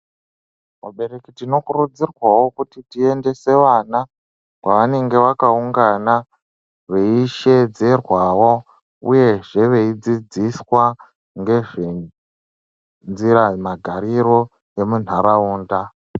Vabereki tinokurudzirwavo kuti tiendese vana kwanenge vakaungana veishedzerwavo, uyezve veidzidziswa ngezve nzira magariro emunharaunda.